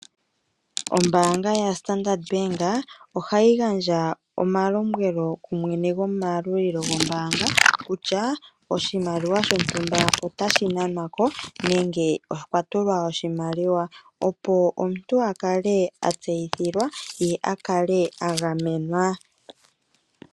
Ombanga ya Standard Bank ohayi gandja omalombwelo kumwene gomalulilo ngombanga kutya oshimaliwa shontumba otashi nwanwako nenge okwa tulwa oshimaliwa opo omuntu akale atseyithilwa ye akale angamenwa.